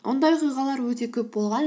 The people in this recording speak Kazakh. ондай оқиғалар өте көп болған